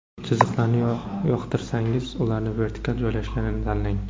Chiziqlarni yoqtirsangiz, ularning vertikal joylashganini tanlang.